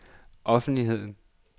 offentligheden